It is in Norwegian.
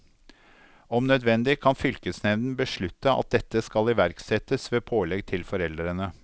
Om nødvendig kan fylkesnevnden beslutte at dette skal iverksettes ved pålegg til foreldrene.